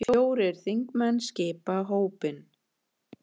Fjórir þingmenn skipa hópinn.